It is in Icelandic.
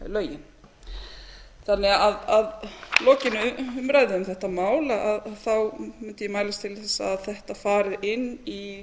lögin þannig að lokinni umræðu um þetta mál mundi ég mælast til þess að þetta fari inn í